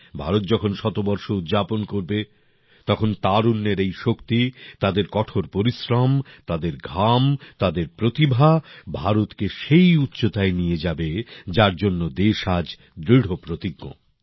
ভারত যখন শতবর্ষ উদযাপন করবে তখন তারুণ্যের এই শক্তি তাদের কঠোর পরিশ্রম তাদের ঘাম তাদের প্রতিভা ভারতকে সেই উচ্চতায় নিয়ে যাবে যার জন্য দেশ আজ দৃঢ় প্রতিজ্ঞ